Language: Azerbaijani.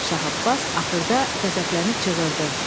Şah Abbas axırda qəzəblənib cığırdı: